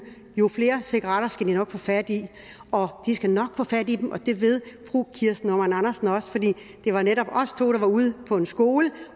jo flere cigaretter skal de nok få fat i de skal nok få fat i dem og det ved fru kirsten normann andersen også for det det var netop os to der var ude på en skole